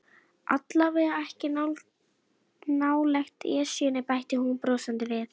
Allavega ekki nálægt Esjunni bætti hún brosandi við.